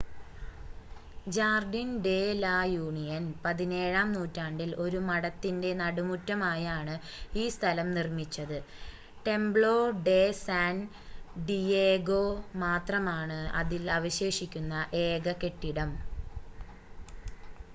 Jardine de la Union 17-ആം നൂറ്റാണ്ടിൽ ഒരു മഠത്തിൻറ്റെ നടുമുറ്റമായാണ് ഈ സ്ഥലം നിർമ്മിച്ചത് ടെംപ്‌ളോ ഡെ സാൻ ഡിയേഗോ മാത്രമാണ് അതിൽ അവശേഷിക്കുന്ന ഏക കെട്ടിടം